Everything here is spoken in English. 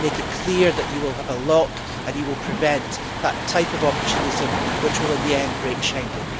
Make it clear that you will have a lock and you will prevent that type of opportunism which will in the end break Schengen.